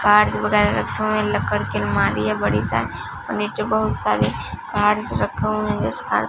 cards वगैरह रखे हुए लक्कड़ की अलमारी है बड़ी सारी और नीचे बहुत सारे कार्ड्स रखे हुए हैं जो